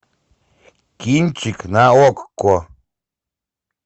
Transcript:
кинчик на окко